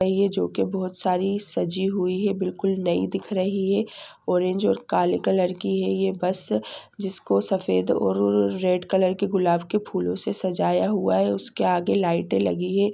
ये जो के बहुत सारी सजी हुई है बिल्कुल नई दिख रही हैं ऑरेंज और काले कलर की हैं ये बस जिसको सफेद और र रेड कलर के गुलाब के फूलों से सजाया हुआ हैं उसके आगे लाइटे लगी हुई है।